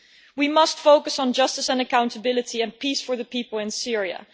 We must focus on justice and accountability, and peace for the people in Syria.